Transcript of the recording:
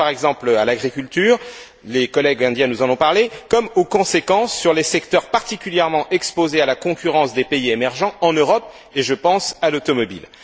Je pense, par exemple, à l'agriculture les collègues indiens nous en ont parlé comme aux conséquences sur les secteurs particulièrement exposés à la concurrence des pays émergents en Europe, et je pense à l'automobile.